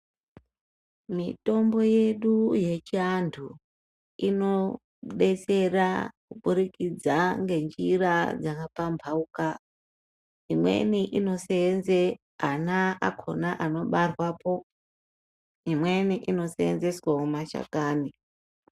Mitombo yedu yechiantu, inodetsera kuburikidza ngenzira dzakapamhauka. Imweni inoseenze ana akhona anobarwapo. Imweni inoseenzeswawo mashakani.